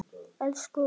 Elsku Ólöf.